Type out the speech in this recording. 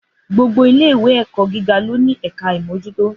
Gbogbo ìlé ìwé ẹkọ gígà lónì ẹkà ìmójútò.